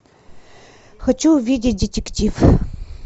хочу увидеть детектив